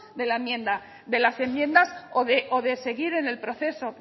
de las enmiendas o de seguir en el proceso